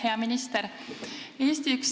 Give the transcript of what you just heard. Hea minister!